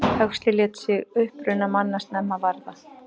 Huxley lét sig uppruna manna snemma varða.